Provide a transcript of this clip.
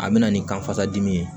A bɛ na ni kanfasa dimi ye